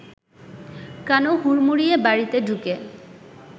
কানু হুড়মুড়িয়ে বাড়িতে ঢুকে